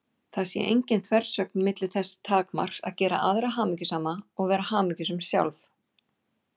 Það sé engin þversögn milli þess takmarks að gera aðra hamingjusama og vera hamingjusöm sjálf.